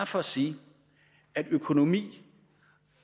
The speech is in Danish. for sige at økonomi